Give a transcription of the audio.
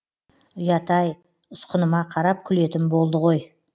ұят ай ұсқыныма қарап күлетін болды ғой